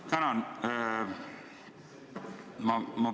Tänan!